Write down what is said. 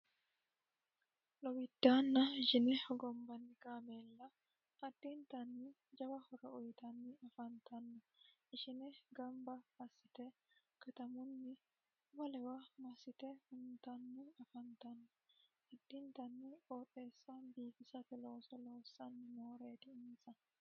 lowiddaanna ishine hogombanni kaameella haddiintanni jawa hora uyitanni afantanno ishine gamba assite katamunni wolewa massite hunitanni afantanno adtiintanni qooxessa biifisate looso loossanni nooreeti insa